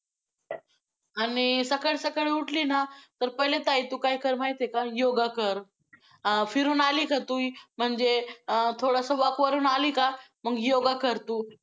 आणि सकाळी सकाळी उठली ना, तर पहिले ताई तू काय कर माहितेय का? yoga कर, अं फिरून आली का तू म्हणजे अं थोडंसं walk वरून आली का, मग yoga कर तू.